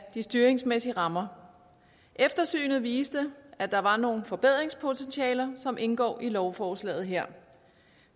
de styringsmæssige rammer eftersynet viste at der var noget forbedringspotentiale som indgår i lovforslaget her